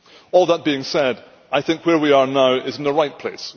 All that being said, I think where we are now is in the right place.